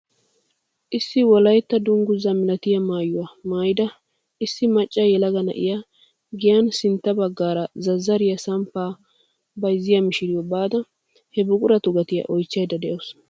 Issi wolaytta dunguzaa milatiyaa maayuwaa maayida issi macca yelaga na'iyaa giyaan sintta baggaara zazarriyaa samppaa bayzziyaa mishiriyoo baada he buquratu gatiyaa oychchayda de'awus.